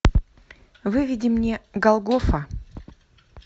выведи мне голгофа